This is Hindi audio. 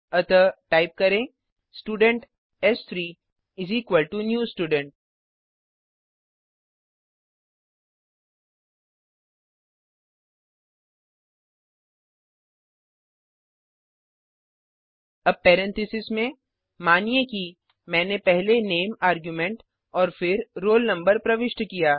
अतः टाइप करें स्टूडेंट s3 न्यू Student अब पेरेंथीसेस में मानिए कि मैने पहले नामे आर्ग्युमेंट और फिर रोल नंबर प्रविष्ट किया